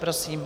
Prosím.